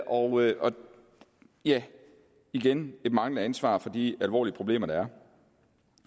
og ja igen et manglende ansvar for de alvorlige problemer der